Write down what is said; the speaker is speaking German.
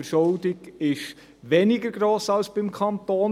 Die Verschuldung ist weniger gross als beim Kanton.